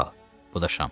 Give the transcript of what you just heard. Al, bu da şam.